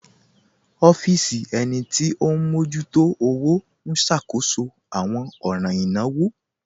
Ọfisi ènì tí o n mọjútò ọwọ̀ n ṣákóṣọ̀ awọn ọ̀ràn ìnáwò.